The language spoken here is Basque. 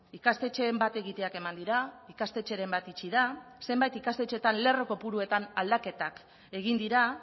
ikastetxeen bat egiteak eman dira ikastetxeren bat itxi da zenbait ikastetxeetan lerro kopuruetan aldaketak egin dira